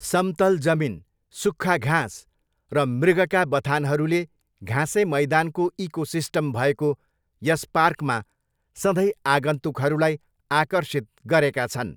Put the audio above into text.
समतल जमिन, सुख्खा घाँस र मृगका बथानहरूले घाँसे मैदानको इकोसिस्टम भएको यस पार्कमा सधैँ आगन्तुकहरूलाई आकर्षित गरेका छन्।